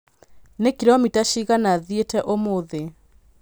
Nĩ kilomita cigana thiĩte ũmũthĩ?